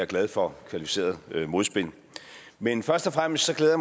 glad for kvalificeret modspil men først og fremmest glæder